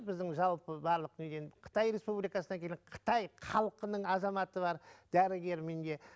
біздің жалпы барлық неден қытай республикасынан келген қытай халқының азаматы бар дәрігер менде